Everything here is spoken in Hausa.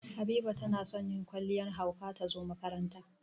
Habiba na son yin kwalliyar hauka ta zo makaranta.